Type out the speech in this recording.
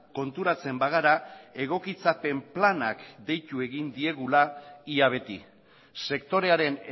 konturatzen bagara egokitzapen planak deitu egin diegula ia beti sektorearen